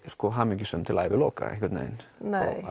hamingjusöm til æviloka einhvern veginn